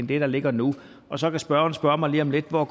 ligger ligger nu og så kan spørgeren spørge mig lige om lidt hvor